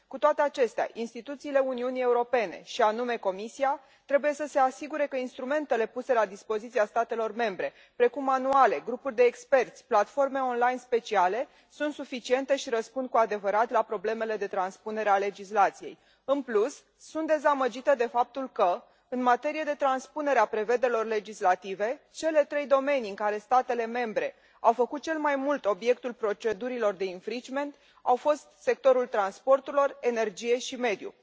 Cu toate acestea, instituțiile Uniunii Europene, și anume Comisia, trebuie să se asigure că instrumentele puse la dispoziția statelor membre, precum manuale, grupuri de experți, platforme online speciale, sunt suficiente și răspund cu adevărat la problemele de transpunere a legislației. În plus, sunt dezamăgită de faptul că, în materie de transpunere a prevederilor legislative, cele trei domenii în care statele membre au făcut cel mai mult obiectul procedurilor de infringement au fost sectorul transporturilor, energie și mediu.